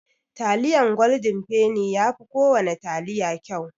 Taliyan goldin feni yafi kowana taliya kyau.